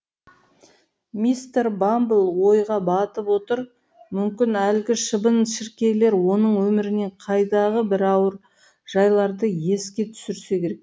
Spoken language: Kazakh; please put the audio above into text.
мистер бамбл ойға батып отыр мүмкін әлгі шыбын шіркейлер оның өмірінен қайдағы бір ауыр жайларды еске түсірсе керек